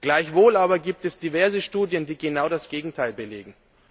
Gleichwohl aber gibt es diverse Studien, die genau das Gegenteil belegen.